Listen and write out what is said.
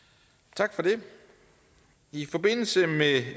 tak for det i forbindelse med